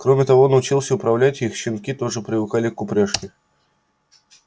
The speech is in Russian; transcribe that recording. кроме того он учился управлять их и щенки тоже привыкали к упряжке